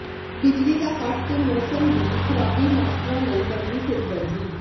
ਬਿਜਲੀ ਦਾ ਕੱਟ ਤੇ ਮੌਸਮ ਦੀ ਖ਼ਰਾਬੀ ਮਾਸਟਰਾਂ ਲਈ ਬਣੀ ਸਿਰਦਰਦੀ